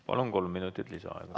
Palun, kolm minutit lisaaega!